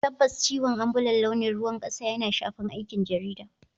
Tabbas, ciwon ambulan launin ruwan kasa yana shafar aikin jarida.